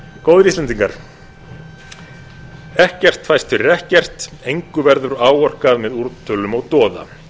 góðir íslendingar ekkert fæst fyrir ekkert engu verður áorkað með úrtölum og doða